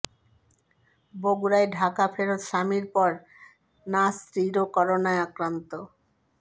বগুড়ায় ঢাকা ফেরত স্বামীর পর নার্স স্ত্রীও করোনায় আক্রান্ত